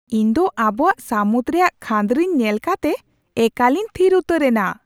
ᱤᱧᱫᱚ ᱟᱵᱚᱣᱟᱜ ᱥᱟᱹᱢᱩᱫ ᱨᱮᱭᱟᱜ ᱠᱷᱟᱹᱫᱽᱨᱤᱧ ᱧᱮᱞ ᱠᱟᱛᱮ ᱮᱠᱟᱞᱤᱧ ᱛᱷᱤᱨ ᱩᱛᱟᱹᱨ ᱮᱱᱟ ᱾